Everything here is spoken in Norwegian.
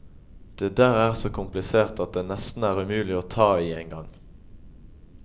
Det der er så komplisert at det nesten er umulig å ta i engang.